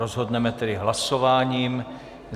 Rozhodneme tedy hlasováním.